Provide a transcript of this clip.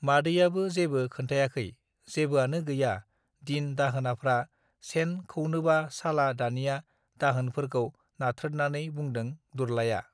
मादैयाबो जेबो खोन्थायाखै जेबोआनो गैया दिन दाहोनाफ्रा सेन खौनोबा साला दानिया दाहोन फोरखौ नाथ्रोथनानै बुंदों दुरलायआ